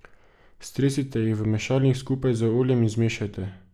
Stresite jih v mešalnik skupaj z oljem in zmešajte.